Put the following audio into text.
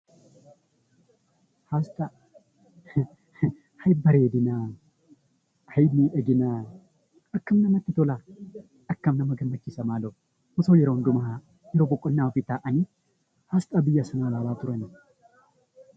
Asxaan bareedina kan miidhaginaa akkam namatti tolaa! Osoo yeroo hundumaa iddoo boqonnaa ofii taa'anii asxaa biyya sanaa ilaalaa oolanii!